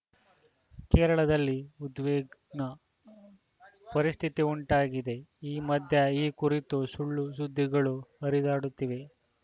ಕೇರಳದಲ್ಲಿ ಉದ್ವಿ ಗ್ನ ಪರಿಸ್ಥಿತಿ ಉಂಟಾಗಿದೆ ಈ ಮಧ್ಯೆ ಈ ಕುರಿತ ಸುಳ್ಳುಸುದ್ದಿಗಳೂ ಹರಿದಾಡುತ್ತಿವೆ